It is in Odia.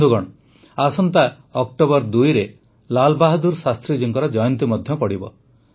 ବନ୍ଧୁଗଣ ଆସନ୍ତା ୨ ଅକ୍ଟୋବରରେ ଲାଲାବାହାଦୁର ଶାସ୍ତ୍ରୀଜୀଙ୍କ ଜୟନ୍ତୀ ମଧ୍ୟ ପଡ଼ିବ